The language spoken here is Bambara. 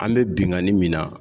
An bɛ binkani min na